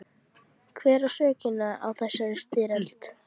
Hver á sökina á þessari styrjöld?